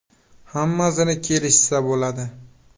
Hammasini kelishsa bo‘ladi.